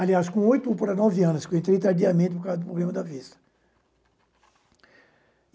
Aliás, com oito para nove anos, porque eu entrei tardiamente por causa do problema da vista.